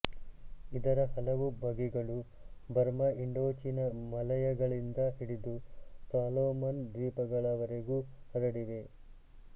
ಇದರ ಹಲವು ಬಗೆಗಳು ಬರ್ಮ ಇಂಡೋಚೀನ ಮಲಯಗಳಿಂದ ಹಿಡಿದು ಸಾಲೊಮನ್ ದ್ವೀಪಗಳವರೆಗೂ ಹರಡಿವೆ